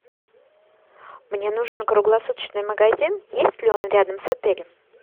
мне нужен круглосуточный магазин есть ли он рядом с отелем